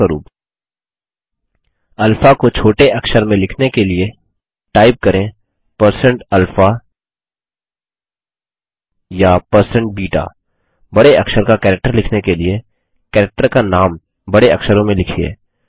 उदाहरणस्वरुप अल्फा को छोटे अक्षर में लिखने के लिए टाइप करें160alpha या160beta बड़े अक्षर का कैरेक्टर लिखने के लिए कैरेक्टर का नाम बड़े अक्षरों में लिखिए